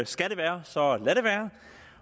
skal det være så lad det være